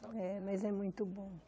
É, mas é muito bom.